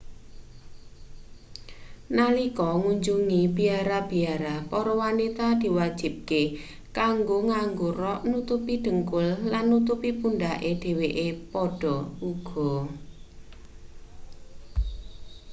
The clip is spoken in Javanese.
nalika ngunjungi biara-biara para wanita diwajibake kanggo nganggo rok nutupi dhengkul lan nutupi pundhake dheweke padha uga